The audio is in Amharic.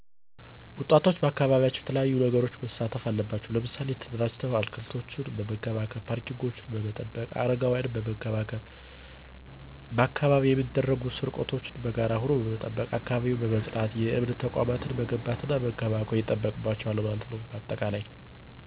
ወጣቶች ባካባቢያቸው በተለያዪ ነገሮች መሣተፍ አለባቸው። ምሣሌ ተደራጅተው አትክልቶችን በመንከባከብ፣ ፓርኪንጎችን በመጠበቅ፣ አረጋውያንን በመንከባከብ፣ ባካባቢው የሚደረጉ ስርቆቶችን በጋራ ሁኖ መጠበቅ፣ አካባቢን በማፅዳት፣ የእምነት ተቋማትን መገንባትና መንከባከብ ይጠበቅባቸዋል ማለት ነው ባጠቃላይ።